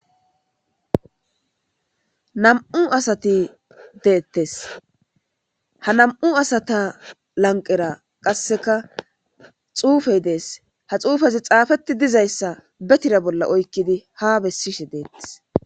Nam'u asati deettes ha nam7u asata lanqera qasseka xuufey dees ha xuufazi xaafeti dizayssa betira bolla oykkidi ha bessishe deettes.